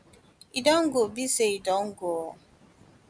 e don go be say e don go